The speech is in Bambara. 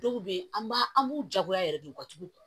Dɔw bɛ yen an b'a an b'u jagoya yɛrɛ de u ka dugu